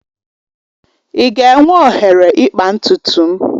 I ga-enwe oghere ịkpa ntutu m?